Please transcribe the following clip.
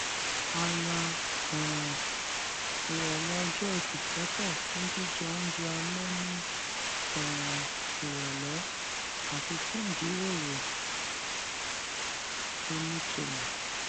a ya um ìròlé ọjọ ẹti sótò fún jíjẹ oúnjẹ alé ní um ìròlé àti fún ìjíròrò tó nítumò